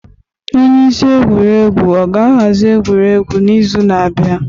Onye isi egwuregwu ọ ga-ahazi egwuregwu n'izu na-abịa?